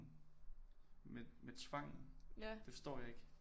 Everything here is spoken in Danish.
Med med tvangen det forstår jeg ikke